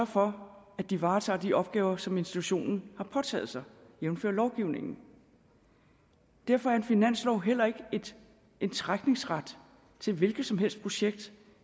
for at de varetager de opgaver som institutionen har påtaget sig jævnfør lovgivningen derfor er en finanslov heller ikke en trækningsret til et hvilken som helst projekt